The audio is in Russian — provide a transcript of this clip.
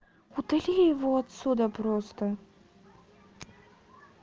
удали его отсюда просто